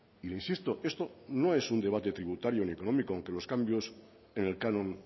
y le insisto esto no es un debate tributario ni económico aunque los cambios en el canon